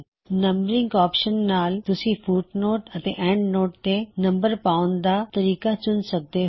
numbering option ਨਾਲ ਤੁਸੀ footnotes ਅਤੇ ਐੱਨਡਨੋਟਸ ਤੇ ਨੰਬਰ ਪਾਉਣ ਦਾ ਤਰੀਕਾ ਚੁਣ ਸਕਦੇ ਹੋ